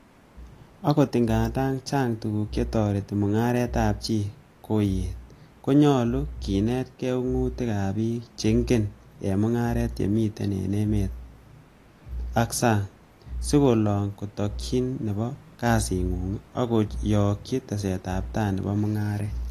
Ogot ngandan, chang tuguk che toretit mung'aretab chii koyet, ko nyolu kinetge ung'utik ab bik che echen en mung'aret chemiten en emet ak sang, si kolong' tokyin nebo kasing'ung ak kochokyi tesetabtab nebo mung'aret.